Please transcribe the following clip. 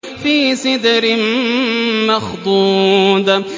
فِي سِدْرٍ مَّخْضُودٍ